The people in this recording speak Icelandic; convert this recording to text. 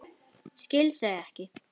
Skil þau ekki.